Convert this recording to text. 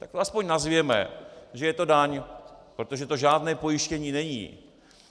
Tak to aspoň nazvěme, že je to daň, protože to žádné pojištění není.